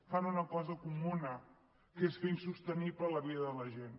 fan una cosa comuna que és fer insostenible la vida de la gent